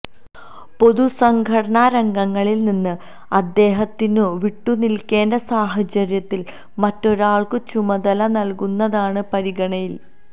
പൊതു സംഘടനാ രംഗങ്ങളിൽ നിന്ന് അദ്ദേഹത്തിനു വിട്ടുനിൽക്കേണ്ട സാഹചര്യത്തിൽ മറ്റൊരാൾക്കു ചുമതല നൽകുന്നതാണു പരിഗണനയിൽ